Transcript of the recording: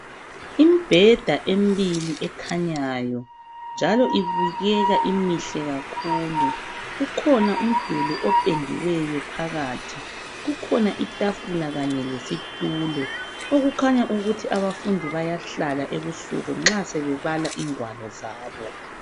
Imbheda emihle ekhanyayo njalo ibukeka imihle kakhulu kukhona umduli opendiweyo phakathi kukhona itafula kanye lesitulo okukhanya ukuthi abafundi bayahlala ebusuku nxa sebebala ingwalo zabo